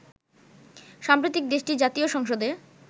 সম্প্রতি দেশটির জাতীয় সংসদে